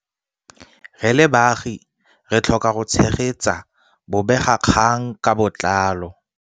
Re le baagi re tlhoka go tshegetsa bobegakgang ka botlalo.